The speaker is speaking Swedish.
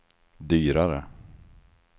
dyrare